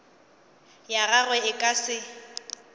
ya gagwe e ka se